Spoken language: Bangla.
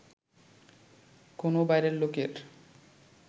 কোন বাইরের লোকের